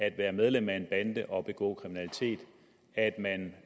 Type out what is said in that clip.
at være medlem af en bande og begå kriminalitet at man